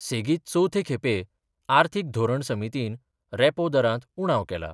सेगित चवथे खेपें अर्थिक धोरन समीतीन रॅपो दरात उणाव केला.